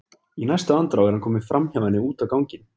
Í næstu andrá er hann kominn framhjá henni út á ganginn.